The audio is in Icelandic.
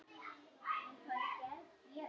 Spilaðu á greiðu.